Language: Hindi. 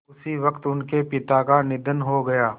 उसी वक़्त उनके पिता का निधन हो गया